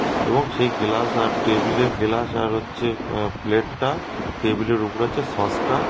এবং সেই গেলাস আর টেবিলে গেলাস আর হচ্ছে প্লেটটা টেবিলের উপরে আছে সসটা--